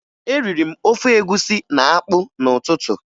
Eriri m ofe egwusi na akpụ n'ụtụtụ